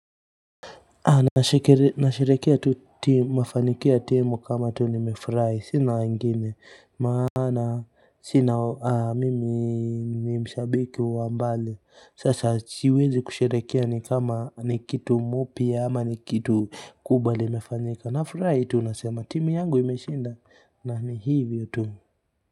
Anashirikia tu timu, mafanikio ya timu kama tu nimefurahi sina wangine maana sina mimi mshabiki wa mbali, sasa siwezi kushirikia, ni kama ni kitu kipya au ni kitu kikubwa kimefanyika na furaha, tunasema timu yangu imeshinda na ni hivyo tu.